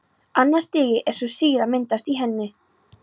Annað stigið er svo þegar sýra myndast í henni.